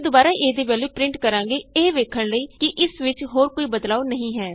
ਅਸੀਂ ਦੁਬਾਰਾ a ਦੀ ਵੈਲਯੂ ਪਰਿੰਟ ਕਰਾਂਗੇ ਇਹ ਵੇਖਣ ਲਈ ਕਿ ਇਸ ਵਿਚ ਹੋਰ ਕੋਈ ਬਦਲਾਉ ਨਹੀਂ ਹੈ